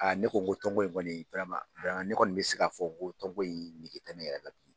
A ne ko tɔn ko in kɔni, ne kɔni bɛ se'a fɔ ko tɔn ko in nege tɛ ne yɛrɛ la bi.